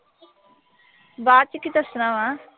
ਬਾਅਦ ਚ ਕੀ ਦੱਸਣਾ ਵਾ।